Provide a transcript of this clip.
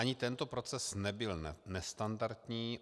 Ani tento proces nebyl nestandardní.